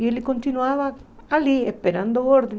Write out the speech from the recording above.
E ele continuava ali, esperando ordens.